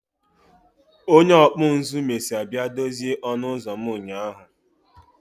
Onye ọkpụ nzụ mesịa bịa dozie ọnụ ụzọ m nyaa